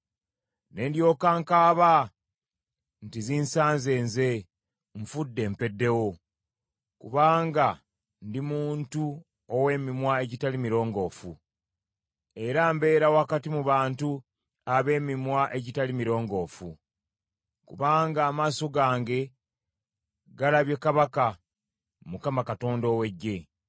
Ne ndyoka nkaaba nti, “Zinsanze nze! Nfudde mpeddewo! Kubanga ndi muntu ow’emimwa egitali mirongoofu, era mbeera wakati mu bantu ab’emimwa egitali mirongoofu; kubanga amaaso gange galabye Kabaka, Mukama Katonda ow’Eggye!”